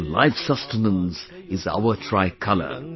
Our life sustenance is our Tricolour